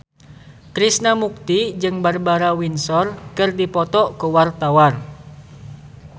Krishna Mukti jeung Barbara Windsor keur dipoto ku wartawan